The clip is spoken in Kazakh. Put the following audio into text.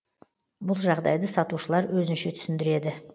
бұл жағдайды сатушылар өзінше түсіндіреді